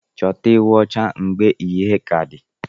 Chọta ewụ ocha mgbe ìhè kà di.